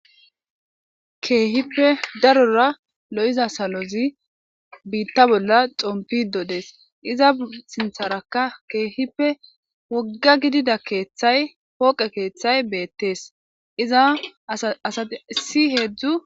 keehippe darora lo'iza salozi biitta bolla xompido dees iza sintharaka keehippe wogga gidida keeththay pooqe keeththay beettees iza asa asi heedzdzu